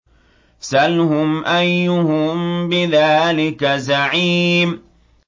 سَلْهُمْ أَيُّهُم بِذَٰلِكَ زَعِيمٌ